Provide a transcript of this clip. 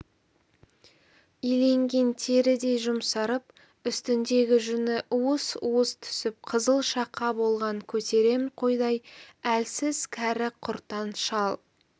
иленген терідей жұмсарып үстіндегі жүні уыс-уыс түсіп қызыл шақа болған көтерем қойдай әлсіз кәрі-құртаң шал